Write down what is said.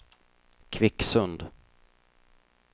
Kvicksund